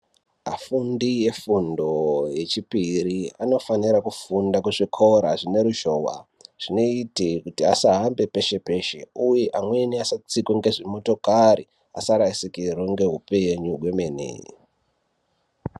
Afundi efundo yechipiri anofanira kufunda kuzvikora zvine ruzhowa, zvinoite kuti asahambe peshe peshe uye amweni asatsikwe ngezvimotokari asarasikirwe ngeupenyu hwemene.